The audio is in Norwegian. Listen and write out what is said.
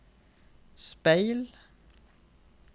speil